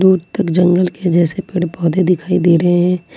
उत्तक जंगल के जैसे पेड़ पौधे दिखाई दे रहे हैं।